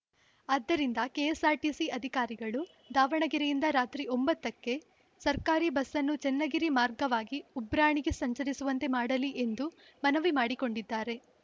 ಅದ್ದರಿಂದ ಕೆಎಸ್‌ಆರ್‌ಟಿಸಿ ಅಧಿಕಾರಿಗಳು ದಾವಣಗೆರೆಯಿಂದ ರಾತ್ರಿ ಒಂಬತ್ತ ಕ್ಕೆ ಸರ್ಕಾರಿ ಬಸ್‌ನ್ನು ಚನ್ನಗಿರಿ ಮಾರ್ಗವಾಗಿ ಉಬ್ರಾಣಿಗೆ ಸಂಚರಿಸುವಂತೆ ಮಾಡಲಿ ಎಂದು ಮನವಿ ಮಾಡಿ ಕೊಂಡಿದ್ದಾರೆ